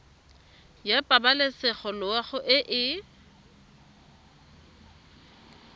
ya pabalesego loago e e